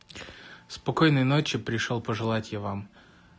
спокойной ночи пришёл пожелать я вам